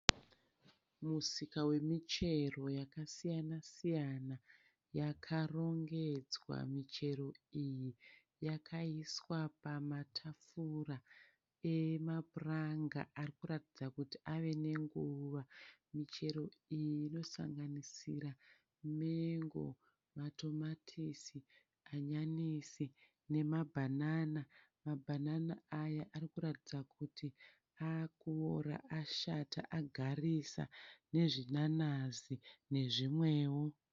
Musika wemuchero yakasiyana-siyana. Yakarongedzwa michero iyi. Yakaiswa pamatafura emapuranga ari kuratidza kuti ave nenguva. Michero iyi inosanganisira mengo, matomatisi hanyanisi nemabhanana. Mabhanana aya ari kuratidza kuti akuora, ashata, agarisa, nezvinanazi nezvimwewo.